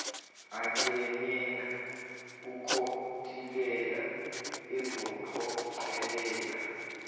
anganena kukontileka ezophoqelela